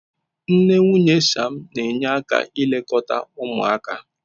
Nne nwunye Sam na-enye aka ilekọta ụmụaka.